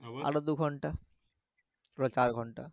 আরো দু ঘন্টা পুরা চার ঘন্টা